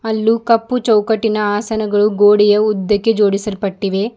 ಅಲ್ಲೂ ಕಪ್ಪು ಚೌಕಟ್ಟಿನ ಆಸನಗಳು ಗೋಡೆಯ ಉದ್ದಕ್ಕೆ ಜೋಡಿಸಲ್ಪಟ್ಟಿವೆ.